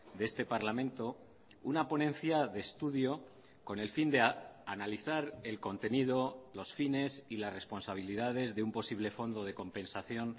de este parlamento una ponencia de estudio con el fin de analizar el contenido los fines y las responsabilidades de un posible fondo de compensación